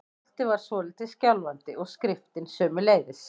Stoltið var svolítið skjálfandi- og skriftin sömuleiðis.